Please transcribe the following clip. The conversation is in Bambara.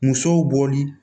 Musow b'oli